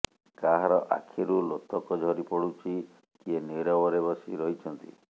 କାହାର ଆଖିରୁ ଲୋତକ ଝରି ପଡୁଛି କିଏ ନିରବରେ ବସି ରହିଛନ୍ତି